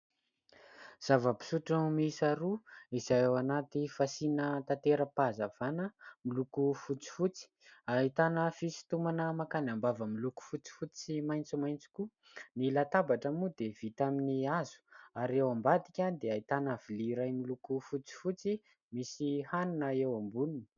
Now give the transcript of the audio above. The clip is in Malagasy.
Zava-pisotro miisa roa izay ao anaty fasiana tatera-pahazavana miloko fotsifotsy. Ahitana fisintomana makany am-bava miloko fotsifotsy sy maitsomaitso koa. Ny latabatra moa dia vita amin'ny hazo ary ao ambadika dia ahitana vilia iray miloko fotsifotsy misy hanina eo amboniny.